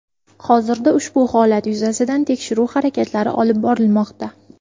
Hozirda ushbu holat yuzasidan tekshiruv harakatlari olib borilmoqda.